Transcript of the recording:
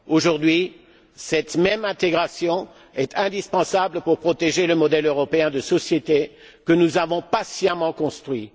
Aujourd'hui, cette même intégration est indispensable pour protéger le modèle européen de société que nous avons patiemment construit.